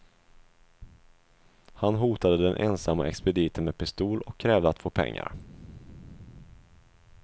Han hotade den ensamma expediten med pistol och krävde att få pengar.